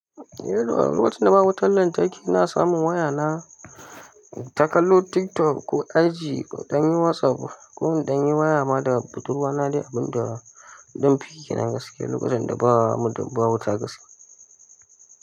Eh, lokacin da ba wutar lantarki ina samun waya na, inta kallo TikTok ko IG, in dan yi WhatsApp ko in dan yi waya ma da budurwa na, dai abin da na dan fiyi kenann gaskiya lokacin da ba mu da ba wuta gaske.